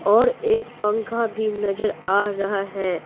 और एक पंखा भी नजर आ रहा है।